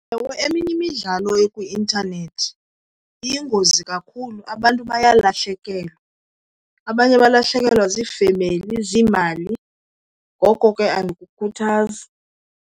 Ewe, eminye imidlalo ekwi-intanethi iyingozi kakhulu, abantu baye balahlekelwa. Abanye balahlekelwa ziifemeli, ziimali. Ngoko ke andiyikhuthazi.